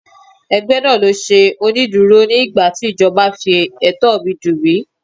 Ẹgbẹ́ náà ló ṣe onídùúró mi nígbàtí ìjọba fi ẹ̀tọ́ mi dùn mí.